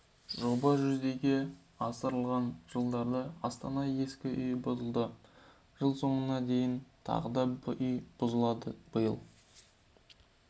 жоба жүзеге асырылған жылдары астанада ескі үй бұзылды жыл соңына дейін тағы да үй бұзылады биыл